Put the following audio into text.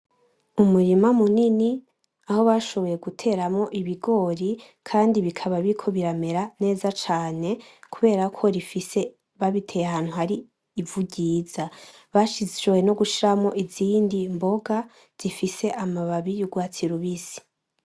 Umurima munini aho bashoboye guteramwo ibigori kandi bikaba biriko biramera neza cane kubera ko babiteye ahantu hari ivu ryiza, bashoboye no gushiramwo izindi mboga zifise amababi y'urwatsi rubisi.